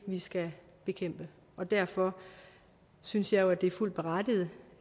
vi skal bekæmpe og derfor synes jeg jo at det er fuldt berettiget